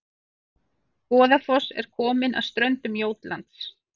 Goðafoss er komin að ströndum Jótlands